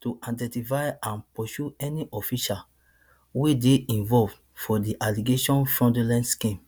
to identify and pursue any officials wey dey involved for di alleged fraudulent scheme